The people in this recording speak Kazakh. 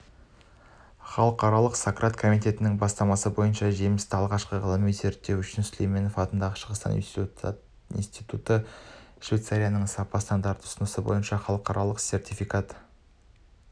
халықаралық сократ комитетінің бастамасы бойынша жемісті ғылыми зерттеу қызметі үшін сүлейменов атындағы шығыстану институты швейцарияның сапа стандартының ұсынысы бойынша халықаралық сертификат